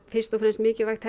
fyrst og fremst mikilvægt